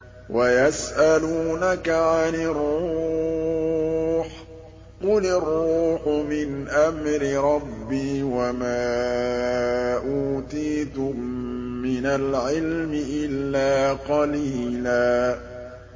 وَيَسْأَلُونَكَ عَنِ الرُّوحِ ۖ قُلِ الرُّوحُ مِنْ أَمْرِ رَبِّي وَمَا أُوتِيتُم مِّنَ الْعِلْمِ إِلَّا قَلِيلًا